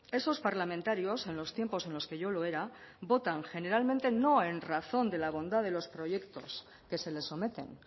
esos parlamentarios en los tiempos en los que yo lo era votan generalmente no en razón de la bondad de los proyectos que se les someten